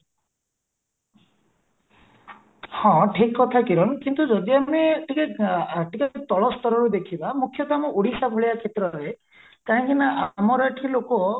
ହଁ ଠିକ କଥା କିରଣ କିନ୍ତୁ ଯଦି ଆମେ ଟିକେ ଆଁ ଟିକେ ତଳ ସ୍ତରରେ ଦେଖିବା ମୁଖ୍ୟତ ଆମ ଓଡିଶା ଭଳିଆ କ୍ଷେତ୍ରରେ କାହିଁକି ନା ଆମର ଏଠି ଲୋକ